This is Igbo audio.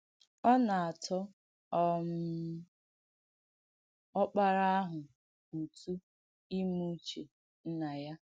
Ọ nà-àtọ̀ um Ọ̀kpàrà àhụ̀ ùtù ìmè ùchè Ǹnà ya.